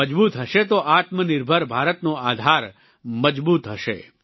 તે મજબૂત હશે તો આત્મનિર્ભર ભારતનો આધાર મજબૂત હશે